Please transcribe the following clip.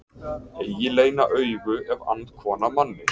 Eigi leyna augu ef ann kona manni.